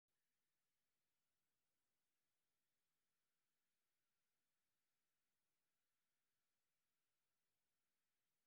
Dugsiyadu waxay baraan carruurta rer xirfado iyo qiyam nololeed oo muhiim ah.